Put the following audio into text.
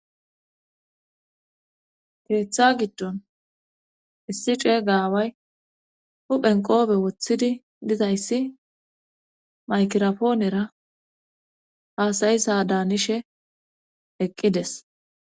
Tiretha giddon issi cee gaaway huphen qoobe woththidi dizayssi maykirapoonera haasayisa daanishe eqqides